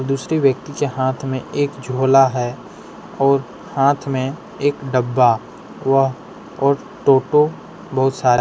दूसरे व्यक्ति के हाथ में एक झोला है और हाथ में एक डब्बा वह और टोटो बहुत सा --